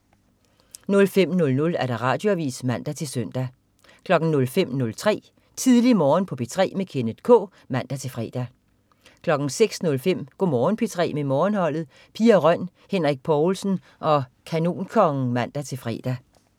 05.00 Radioavis (man-søn) 05.03 Tidlig Morgen på P3 med Kenneth K (man-fre) 06.05 Go' Morgen P3 med Morgenholdet. Pia Røn, Henrik Povlsen og Kanonkongen (man-fre)